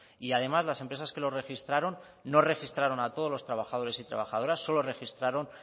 y además las empresas que lo registraron no registraron a todos los trabajadores y trabajadores solo registraron